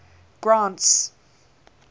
grant's